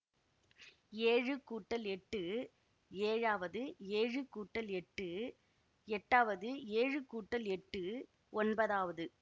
ஏழு கூட்டல் எட்டு ஏழாவது ஏழு கூட்டல் எட்டு எட்டாவது ஏழு கூட்டல் எட்டு ஒன்பதாவது